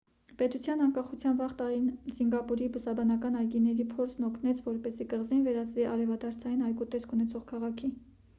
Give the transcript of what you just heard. պետության անկախության վաղ տարիներին սինգապուրի բուսաբանական այգիների փորձն օգնեց որպեսզի կղզին վերածվի արևադարձային այգու տեսք ունեցող քաղաքի